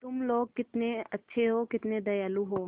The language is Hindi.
तुम लोग कितने अच्छे हो कितने दयालु हो